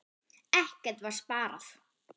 Ekkert var sparað.